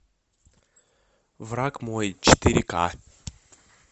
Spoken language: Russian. враг мой четыре к